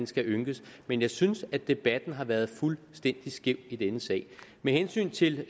skal ynkes men jeg synes at debatten har været fuldstændig skæv i denne sag med hensyn til